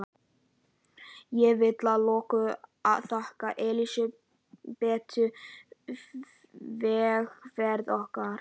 Ég vil að lokum þakka Elsabetu vegferð okkar.